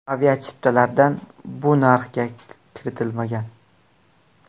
Aviachiptalardan bu narxga kiritilmagan.